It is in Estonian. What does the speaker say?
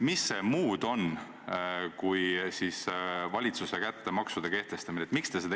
" Mis see muud on kui valitsuse kätte maksude kehtestamise andmine?